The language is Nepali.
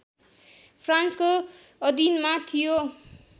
फ्रान्सको अधिनमा थियो